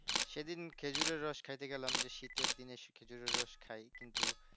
সেইদিন খেজুরের রস খাইতে গেলাম যে শীতের দিনে খেজুরের রস খাই কিন্তু